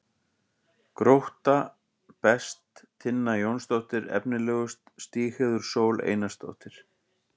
Grótta: Best: Tinna Jónsdóttir Efnilegust: Stígheiður Sól Einarsdóttir